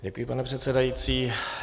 Děkuji, pane předsedající.